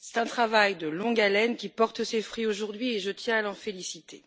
C'est un travail de longue haleine qui porte ses fruits aujourd'hui, et je tiens à l'en féliciter.